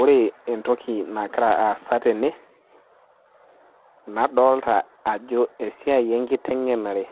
Ore entoki nagira aasa tene, nadolita ajo esiai enkiteng'enare.